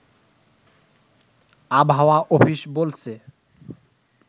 আবহাওয়া অফিস বলছে